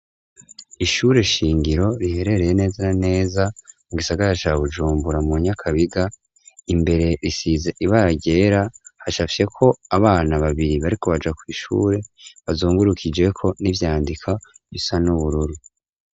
Ishure shingiro riherereye nezaneza mu gisagara ca Bujumbura mu Nyakabiga imbere risize ibara ryera hacafyeko abana babiri bariko baja kw'ishure bazungurukijeko n'ivyandika bisa n'ubururu.